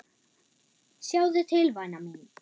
Sjáðu til væna mín.